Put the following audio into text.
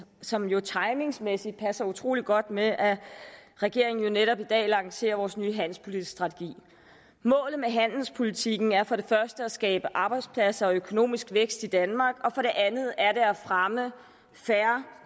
som jo timingsmæssigt passer utrolig godt med at regeringen netop i dag lancerer vores nye handelspolitiske strategi målet med handelspolitikken er for det første at skabe arbejdspladser og økonomisk vækst i danmark og for det andet er det at fremme fair